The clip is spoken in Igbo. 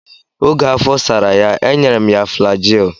Oge afọ sara ya, e nyere m ya flajil.